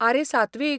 आरे सात्वीक!